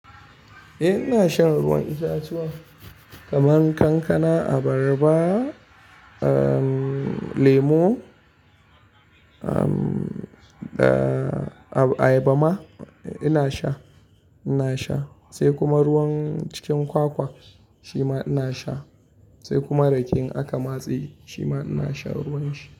Eh ina shan ruwan itatuwa kaman kankana, abarba, lemo, ayaba ma ina sha, ina sha. Sai kuma ruwan cikin kwakwa shi ma ina sha, sai kuma rake in aka matse shi ma ina sha ruwan shi.